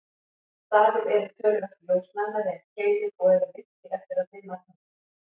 Stafir eru töluvert ljósnæmari en keilur og eru virkir eftir að dimma tekur.